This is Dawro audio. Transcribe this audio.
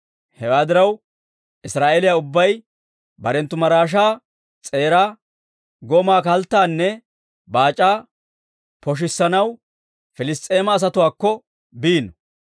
Hewaa diraw, Israa'eeliyaa ubbay barenttu maraashaa s'eeraa, gomaa, kalttaanne baac'aa poshissanaw Piliss's'eema asatuwaakko biino.